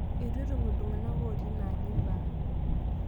Eitu etum ltung'ana otii inaji lbaa